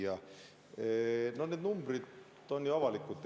Hea küsija, need numbrid on ju avalikud.